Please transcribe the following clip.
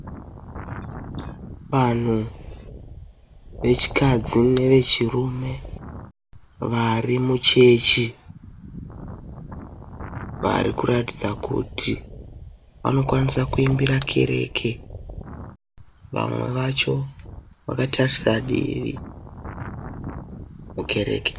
Vanhu vechikadzi nevechirume vari muchechi vari kuratidza kuti vanokwanisa kuimbira kereke vamwe vacho vakatarisa divi mukereke.